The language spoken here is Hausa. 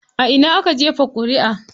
A ina aka jefa ƙuriʼa?